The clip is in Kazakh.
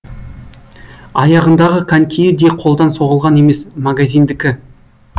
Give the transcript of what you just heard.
аяғындағы конькиі де қолдан соғылған емес магазиндікі